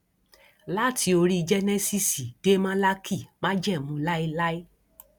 láti orí jẹnẹsíìsì dé málákì májẹmú láéláé